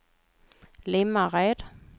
Limmared